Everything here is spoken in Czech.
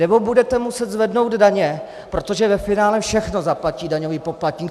Nebo budete muset zvednout daně, protože ve finále všechno zaplatí daňový poplatník.